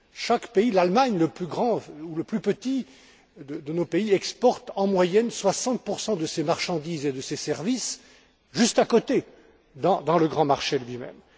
Chaque pays, l'Allemagne, le plus grand, ou le plus petit de nos pays, exporte en moyenne 60 de ses marchandises et de ses services juste à côté, dans le grand marché lui même.